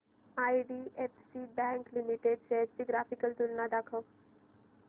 IDFC bank limited shares ची graphical तुलना दाखव